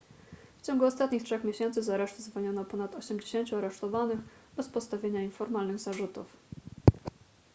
w ciągu ostatnich trzech miesięcy z aresztu zwolniono ponad 80 aresztowanych bez postawienia im formalnych zarzutów